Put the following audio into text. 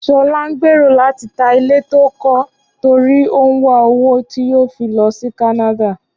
Ṣọlá ń gbèrò láti ta ilé tó ń kọ́ torí ó ń wá owó tí yóò fi lọ sí Kánádà